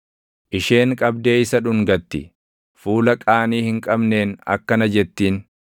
Isheen qabdee isa dhungatti; fuula qaanii hin qabneen akkana jettiin: